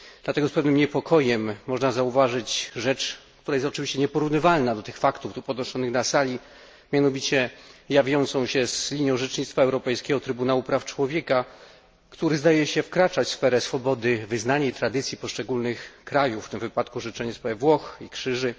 Dlatego z pewnym niepokojem można zauważyć rzecz, która jest oczywiście nieporównywalna do tych faktów tu podnoszonych na tej sali, mianowicie jawiącą się z linią orzecznictwa Europejskiego Trybunału Praw Człowieka, który zdaje się wkraczać w sferę swobody wyznania i tradycji poszczególnych krajów, w tym wypadku orzeczenia w sprawie Włoch i krzyży.